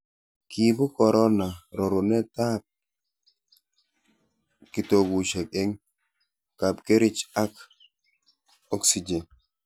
kiibu korona rorunotetab kitokusiek eng' kapkerich ak oksijen